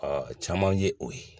caman ye o ye